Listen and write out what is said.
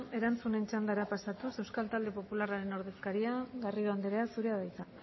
erantzunen txandara pasatuz euskal talde popularraren ordezkaria garrido andrea zurea da hitza